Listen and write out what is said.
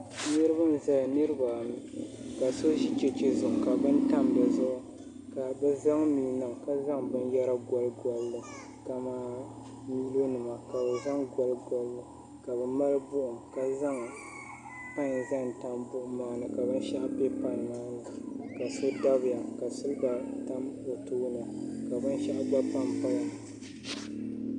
Niriba n-zaya niriba ayi ka so ʒi cheche zuɣu ka beni tam di zuɣu ka bɛ zaŋ mia niŋ ka zaŋ binyɛra goligoli li ka bɛ mali buɣim ka zaŋ pan zaŋ tam buɣu maa zuɣu ka binshɛɣu be pan maa ni ka so dabiya ka siliba gba tam o tooni ka binshɛɣu gba tam buɣim ni